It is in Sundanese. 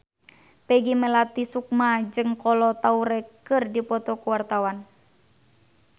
Peggy Melati Sukma jeung Kolo Taure keur dipoto ku wartawan